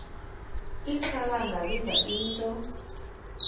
ixhalanga liva into